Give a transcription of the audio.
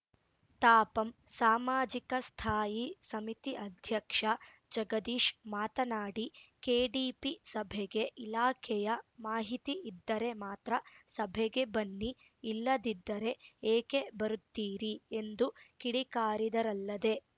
ತಾಪಂ ಸಾಮಾಜಿಕ ಸ್ಥಾಯಿ ಸಮಿತಿ ಅಧ್ಯಕ್ಷ ಜಗದೀಶ್‌ ಮಾತನಾಡಿ ಕೆಡಿಪಿ ಸಭೆಗೆ ಇಲಾಖೆಯ ಮಾಹಿತಿ ಇದ್ದರೆ ಮಾತ್ರ ಸಭೆಗೆ ಬನ್ನಿ ಇಲ್ಲದಿದ್ದರೆ ಏಕೆ ಬರುತ್ತಿರೀ ಎಂದು ಕಿಡಿಕಾರಿದರಲ್ಲದೆ